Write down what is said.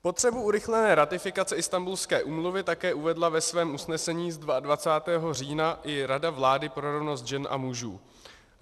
Potřebu urychlené ratifikace Istanbulské úmluvy také uvedla ve svém usnesení z 22. října i Rada vlády pro rovnost žen a mužů.